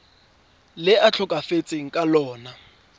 le a tlhokafetseng ka lona